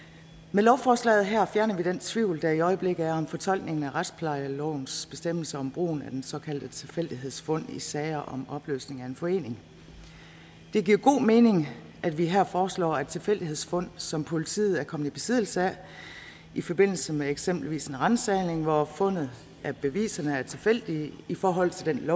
med lovforslaget her fjerner vi den tvivl der i øjeblikket er om fortolkningen af retsplejelovens bestemmelser om brugen af såkaldte tilfældighedsfund i sager om opløsning af en forening det giver god mening at vi her foreslår at tilfældighedsfund som politiet er kommet i besiddelse af i forbindelse med eksempelvis en ransagning hvor fundet af beviserne er tilfældigt i forhold til